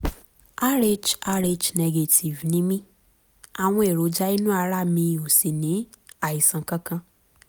rh rh negative ni mí àwọn èròjà inú ara mi ò sì ní àìsàn kankan